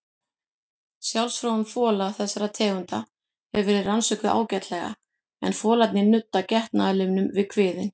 Sjálfsfróun fola þessara tegunda hefur verið rannsökuð ágætlega en folarnir nudda getnaðarlimnum við kviðinn.